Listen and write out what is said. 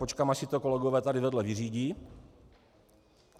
Počkám, až si to kolegové tady vedle vyřídí.